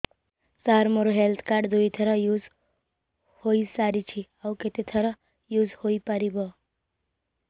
ସାର ମୋ health card ଦୁଇ ଥର ୟୁଜ଼ ହୈ ସାରିଛି ଆଉ କେତେ ଥର ୟୁଜ଼ ହୈ ପାରିବ